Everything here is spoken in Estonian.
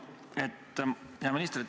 Hea minister!